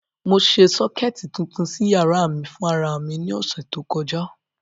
Mo ṣe sọ́kẹ̀tì tuntun sí yàrá mi fún ara mi ní ọ̀sẹ̀ tó kọjá.